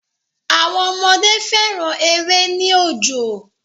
Àwọn ọmọdé fẹ́ran èrè ní òjò